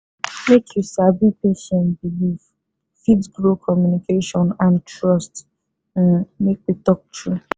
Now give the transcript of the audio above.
make you sabi patient beliefsfit grow communication and trust um make we talk true